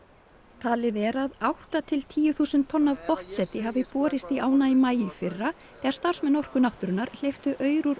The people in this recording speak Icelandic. talið er að átta til tíu þúsund tonn af hafi borist í ána í maí í fyrra þegar starfsmenn Orku náttúrunnar hleyptu aur úr